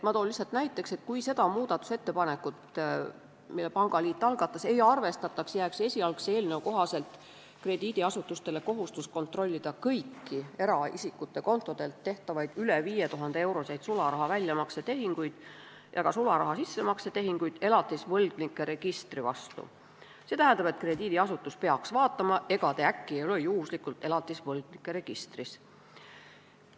Ma toon lihtsalt näiteks, et kui seda muudatusettepanekut, mille pangaliit algatas, ei arvestataks, jääks esialgse eelnõu kohaselt krediidiasutustele kohustus kontrollida kõiki eraisikute kontodelt tehtavaid üle 5000-euroseid sularaha väljamakse tehinguid ja ka sularaha sissemakse tehinguid, st krediidiasutus peaks vaatama, ega te äkki ei ole juhuslikult elatisvõlgnike registris.